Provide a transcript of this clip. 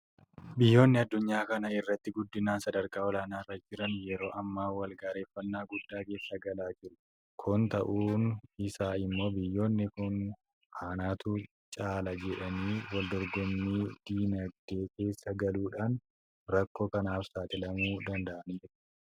Biyyoonni addunyaa kana irratti guddinaan sadarkaa olaanaa irra jiran yeroo ammaa walgaarreffannaa guddaa keessa galaa jiru. Kun ta'uun isaa immoo biyyoonni kun anatu caala jedhanii waldorgommii diinagdee keessa galuudhaan rakkoo kanaaf saaxilamuu danda'aniiru.